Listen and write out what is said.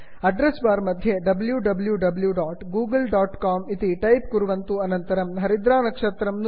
address bar मध्ये wwwgooglecom W W W dot Google dot com इति type कुर्वन्तु अनन्तरं हरिद्रानक्षत्रं नुदन्तु